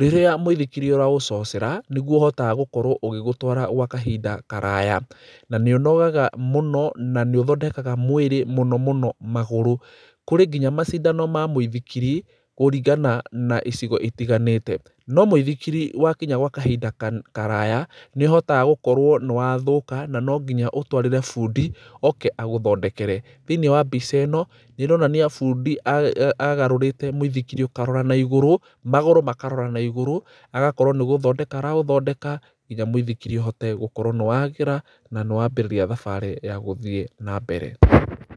Rĩrĩa mũithikiri ũraũcocera, nĩguo ũhotaga gũkorwo ũgĩgũtwara gwa kahinda karaya. Na nĩ ũnogaga mũno na nĩ ũthondekaga mwĩrĩ mũno mũno magũrũ. Kũrĩ nginya macindano ma mũithikiri kũringana na icigo itiganĩte. No mũithikiri wakinya gwa kahinda kana, karaya, nĩũhotaga gũkorwo nĩwathũka na nonginya ũtwarĩre bũndi oke agũthondekere. Thĩiniĩ wa mbica ĩno nĩ ĩronania bũndi a, a, agarũrĩte mũithikiri ũkarora naigũrũ, magũrũ makarora naigũrũ agakorwo nĩgũthondeka araũthondeka nginya mũithikiri ũhote gũkorwo nĩwagĩra na nĩwambĩrĩria thabarĩ ya gũthiĩ nambere.